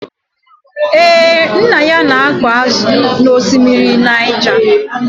Ee, nna ya na-akụ ázụ̀ n'ọsimiri Naịja.